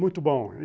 Muito bom.